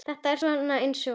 Þetta er svona eins og.